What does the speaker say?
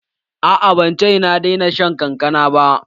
A'a ban ce na daina shan kankana ba